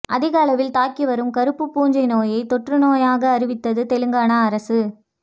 அதிக அளவில் தாக்கி வரும் கருப்பு பூஞ்சை நோயை தொற்று நோயாக அறிவித்தது தெலங்கானா அரசு